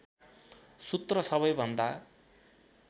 सूत्र सबैभन्दा